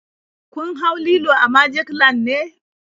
Kun hau lilo a magic land ne?